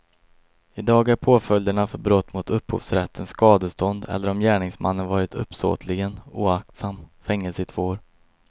I dag är påföljderna för brott mot upphovsrätten skadestånd eller, om gärningsmannen varit uppsåtligen oaktsam, fängelse i två år.